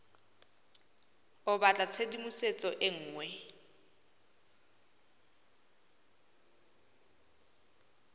o batla tshedimosetso e nngwe